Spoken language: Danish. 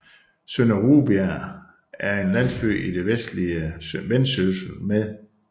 Sønder Rubjerg er en landsby i det vestlige Vendsyssel med